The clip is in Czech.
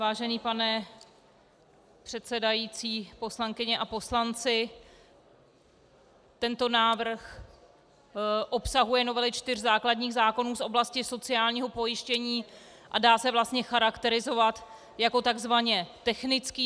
Vážený pane předsedající, poslankyně a poslanci, tento návrh obsahuje novely čtyř základních zákonů z oblasti sociálního pojištění a dá se vlastně charakterizovat jako takzvaně technický.